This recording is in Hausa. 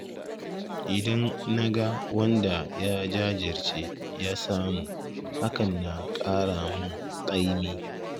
Idan na ga wanda ya jajirce ya samu, hakan na ƙara mun ƙaimi.